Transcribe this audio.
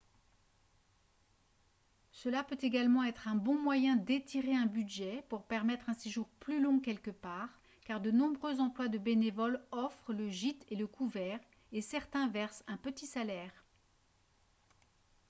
cela peut également être un bon moyen d'étirer un budget pour permettre un séjour plus long quelque part car de nombreux emplois de bénévoles offrent le gîte et le couvert et certains versent un petit salaire